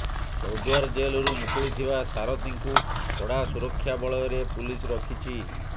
ଚୌଦ୍ୱାର ଜେଲରୁ ମୁକୁଳିଥିବା ସାରଥୀଙ୍କୁ କଡ଼ା ସୁରକ୍ଷା ବଳୟରେ ପୁଲିସ ରଖିଛି